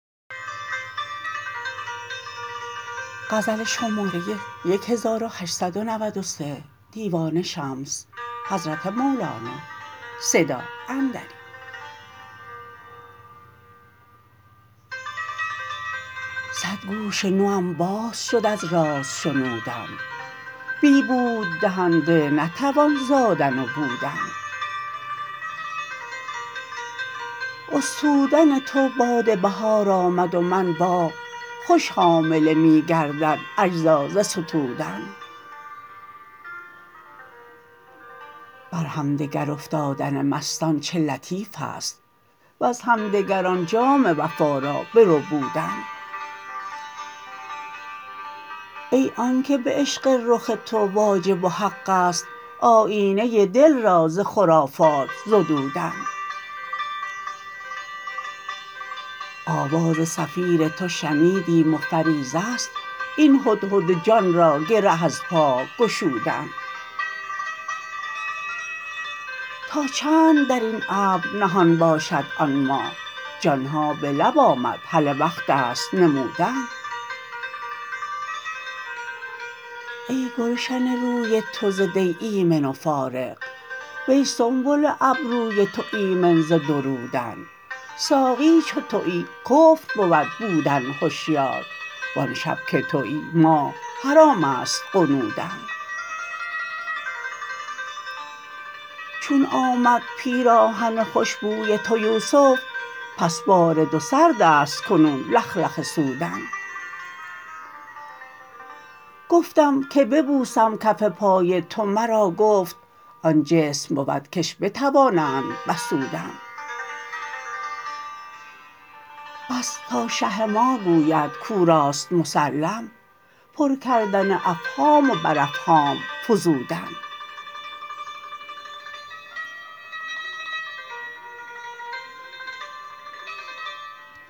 صد گوش نوم باز شد از راز شنودن بی بوددهنده نتوان زادن و بودن استودن تو باد بهار آمد و من باغ خوش حامله می گردد اجزا ز ستودن بر همدگر افتادن مستان چه لطیف است وز همدگر آن جام وفا را بربودن ای آنک به عشق رخ تو واجب و حق است آیینه دل را ز خرافات زدودن آواز صفیر تو شنیدیم و فریضه است این هدهد جان را گره از پای گشودن تا چند در این ابر نهان باشد آن ماه جان ها به لب آمد هله وقت است نمودن ای گلشن روی تو ز دی ایمن و فارغ وی سنبل ابروی تو ایمن ز درودن ساقی چو توی کفر بود بودن هشیار وان شب که توی ماه حرام است غنودن چون آمد پیراهن خوش بوی تو یوسف بس بارد و سرد است کنون لخلخه سودن گفتم که ببوسم کف پای تو مرا گفت آن جسم بود کش بتوانند بسودن پس تا شه ما گوید کو راست مسلم پر کردن افهام و بر افهام فزودن